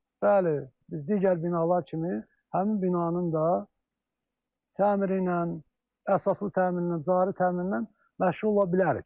Bəli, biz digər binalar kimi həmin binanın da təmiri ilə, əsaslı təmiri ilə, cari təmiri ilə məşğul ola bilərik.